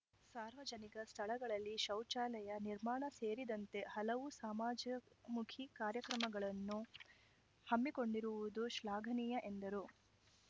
ಸಾರ್ವಜನಿಕ ಸ್ಥಳಗಳಲ್ಲಿ ಶೌಚಾಲಯ ನಿರ್ಮಾಣ ಸೇರಿದಂತೆ ಹಲವು ಸಮಾಜ್ಯ ಮುಖಿ ಕಾರ್ಯಕ್ರಮಗಳನ್ನು ಹಮ್ಮಿಕೊಂಡಿರುವುದು ಶ್ಲಾಘನೀಯ ಎಂದರು